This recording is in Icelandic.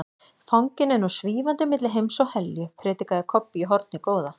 Fanginn er nú SVÍFANDI MILLI HEIMS OG HELJU, predikaði Kobbi í hornið góða.